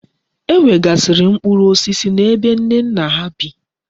E nwegasiri mkpuru osisi na ebe Nnenna ha bi